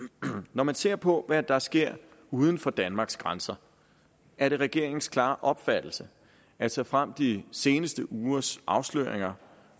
når man ser på hvad der sker uden for danmarks grænser er det regeringens klare opfattelse at såfremt de seneste ugers afsløringer